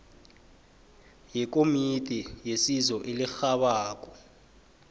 wekomiti yesizo elirhabako